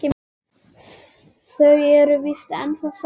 Þau eru víst ennþá saman.